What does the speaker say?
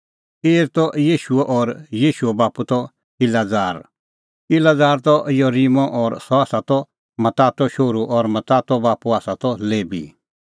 एर त येशूओ और येशूओ बाप्पू त इलाजार इलाजार त योरीमो और सह त मत्तातो शोहरू और मत्तातो बाप्पू आसा त लेबी